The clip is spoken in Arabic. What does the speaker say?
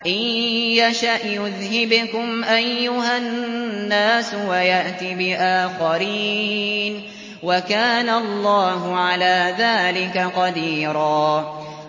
إِن يَشَأْ يُذْهِبْكُمْ أَيُّهَا النَّاسُ وَيَأْتِ بِآخَرِينَ ۚ وَكَانَ اللَّهُ عَلَىٰ ذَٰلِكَ قَدِيرًا